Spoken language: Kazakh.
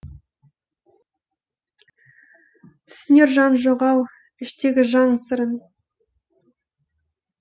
түсінер жан жоқ ау іштегі жан сырын